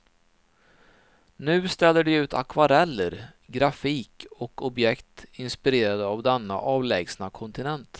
Nu ställer de ut akvareller, grafik och objekt inspirerade av denna avlägsna kontinent.